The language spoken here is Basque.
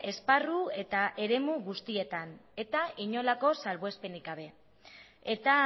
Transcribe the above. esparru eta eremu guztietan eta inolako salbuespenik gabe eta